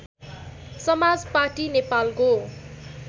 समाज पाटी नेपालको